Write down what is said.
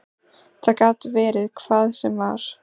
Það gat verið hvað sem var.